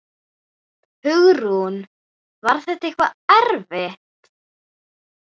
Hugrún: Var þetta eitthvað erfitt?